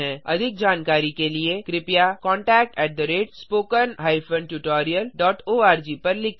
अधिक जानकारी के लिए कृपया contact at spoken hyphen tutorial dot O R G पर लिखें